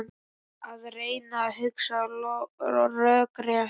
Að reyna að hugsa rökrétt